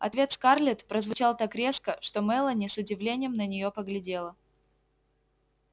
ответ скарлетт прозвучал так резко что мелани с удивлением на неё поглядела